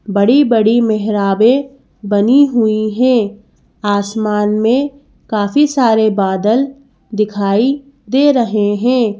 बड़ी बड़ी मेहरावे बनी हुई है आसमान में काफी सारे बादल दिखाई दे रहे हैं।